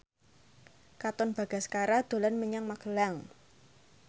Katon Bagaskara dolan menyang Magelang